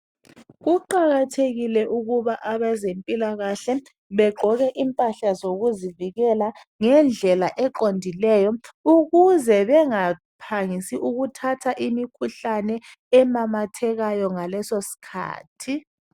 Kuqakathekile ukuba abezempilakahle bagqoke impahla zokuzivikela ngendlela eqondileyo ukuze bengaphangisi ukuthatha imikhuhlane ememethekayo ngaleso sikhathi